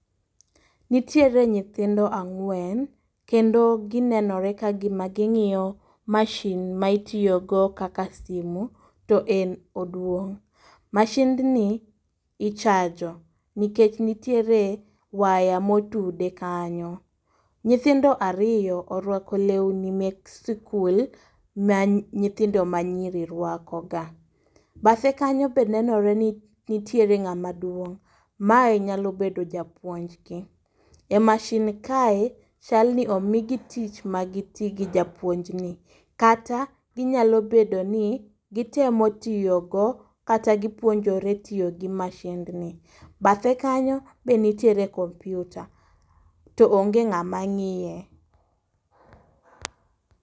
Nitiere nyithindo ang'wen kendo ginenore ka gima ging'iyo mashin ma itiyogo kaka simu to en oduong'. Mashind ni ichajo nikech nitiere waya motude kanyo. Nyithindo ariyo orwako lewni mek skul ma nyithindo ma nyiri rwako ga. Bathe kanyo be nenore ni nitiere ng'ama duong', mae nyalo bedo japuonj gi. E mashin kae, chalni omigi tich ma giti gi japuonj ni. Kata ginyalo bedo ni gitemo tiyo go kata gipuonjore tiyo gi mashind ni. Bathe kanyo be nitiere kompyuta to onge ng'ama ngiye.